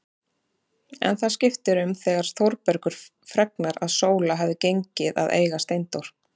En það skiptir um þegar Þórbergur fregnar að Sóla hafi gengið að eiga Steindór.